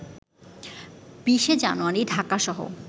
২০শে জানুয়ারি ঢাকাসহ